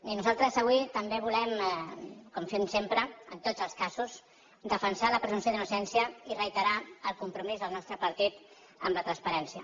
i nosaltres avui també volem com fem sempre en tots els casos defensar la presumpció d’innocència i reiterar el compromís del nostre partit en la transparència